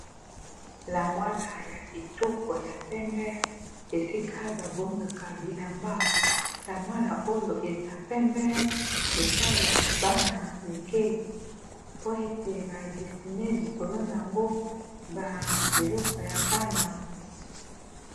Oyo ezali armoire ba tiyaka bilamba ya ba bebe babotami sika. Eza na langi ya pembe na minzoto ya lilala pe motane, ezali pe na tu langi ya pondu. Eza ya sika pe kitoko.